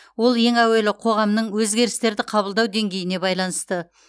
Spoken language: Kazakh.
ол ең әуелі қоғамның өзгерістерді қабылдау деңгейіне байланысты